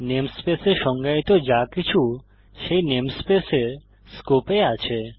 namespace এ সংজ্ঞায়িত যাকিছু সেই নেমস্পেস এর স্কোপ এ আছে